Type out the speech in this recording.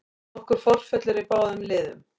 Nokkur forföll eru í báðum liðum